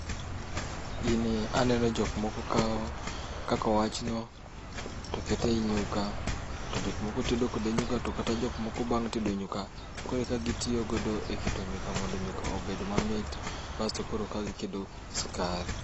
Gini aneno jok moko kawo kaka owachno, to keto ei nyuka. To jokmoko tedo kode nyuka, to kata jok moko bang' tedo nyuka koro eka gitiyo godo e keto nyuka mondo nyuka obed mamit, bas to koro eka giketo sukari